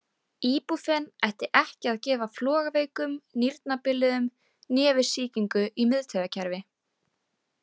Íbúfen ætti ekki að gefa flogaveikum, nýrnabiluðum né við sýkingu í miðtaugarkerfi.